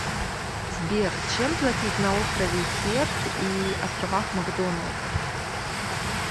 сбер чем платить на острове херд и островах макдоналд